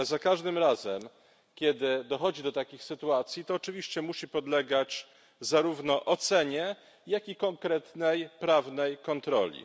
Ale za każdym razem, kiedy dochodzi do takich sytuacji, to oczywiście musi podlegać zarówno ocenie, jak i konkretnej, prawnej kontroli.